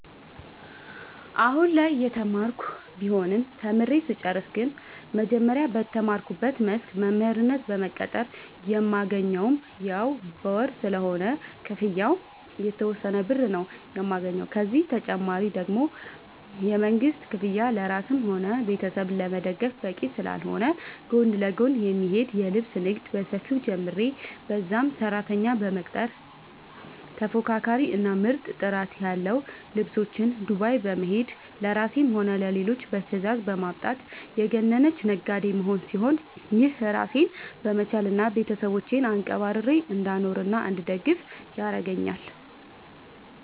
አሁላይ እየተማርኩ ቢሆንም ተምሬ ስጨርስ ግን መጀመሪያ በተማርኩበት መስክ በመምህርነት በመቀጠር የማገኘውም ያው በወር ስለሆነ ክፍያው የተወሰነ ብር ነው የማገኘው፤ ከዚህ ተጨማሪ ደግሞ የመንግስት ክፍያ ለራስም ሆነ ቤተሰብ ለመደገፍ በቂ ስላልሆነ ጎን ለጎን የሚሄድ የልብስ ንግድ በሰፊው ጀምሬ በዛም ሰራተኛ በመቅጠር ተፎካካሪ እና ምርጥ ጥራት ያለው ልብሶች ዱባይ በመሄድ ለራሴም ሆነ ለሌሎች በትዛዝ በማምጣት የገነነች ነጋዴ መሆን ሲሆን፤ ይህም ራሴን በመቻል እና ቤተሰቦቼን አንቀባርሬ እንዳኖርናእንድደግፍ ያረገአኛል።